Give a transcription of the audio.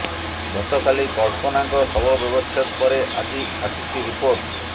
ଗତକାଲି କଳ୍ପନାଙ୍କ ଶବ ବ୍ୟବଚ୍ଛେଦ ପରେ ଆଜି ଆସିଛି ରିପୋର୍ଟ